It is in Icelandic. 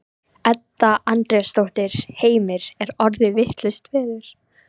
Edda Andrésdóttir: Heimir er orðið vitlaust veður?